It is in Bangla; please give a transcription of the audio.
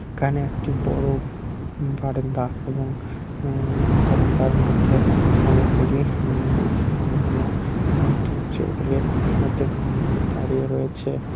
এখানে একটি বড় বারান্দা এবং উম্ম বারান্দার মধ্যে অনেকগুলি উম মহিলা দাড়িয়ে রয়েছে।